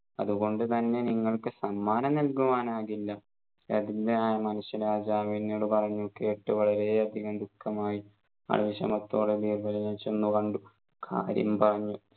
അതുകൊണ്ടു തന്നെ നിങ്ങൾക്ക് സമ്മാനം നല്കുവാനാകില്ല ദരിദ്രനായ മനുഷ്യ രാജാവ് എന്നോട് പറഞ്ഞു കേട്ടു വളരെ അധികം ദുഃഖമായി ആ വിഷമത്തോടെ ബീർബലിനെ ചെന്ന് കണ്ടു കാര്യം പറഞ്ഞു